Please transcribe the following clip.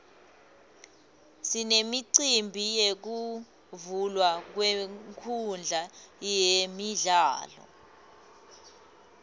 sinemicimbi yekuvulwa kwenkhundla yemidlalo